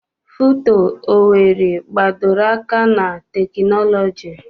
FUTO Owerri gbadoro aka na teknọlọji.